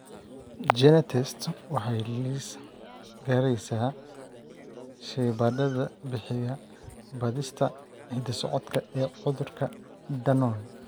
GeneTests waxay liis garaysaa shaybaadhada bixiya baadhista hidda-socodka ee cudurka Danon.